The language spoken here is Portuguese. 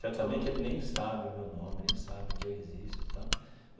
Certamente ele nem sabe o meu nome, nem sabe que eu existo tal.